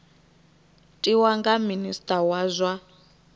tiwa nga minista wa zwa